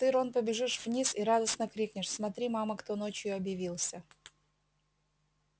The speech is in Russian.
ты рон побежишь вниз и радостно крикнешь смотри мама кто ночью объявился